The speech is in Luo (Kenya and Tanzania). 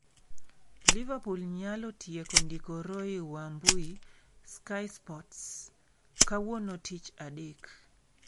Liverpool nyalo tieko ndiko Roy Wambui (Sky Sports) - Kawuono, Tich Adek.